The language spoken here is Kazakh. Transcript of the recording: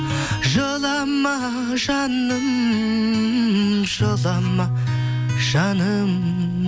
жылама жаным жылама жаным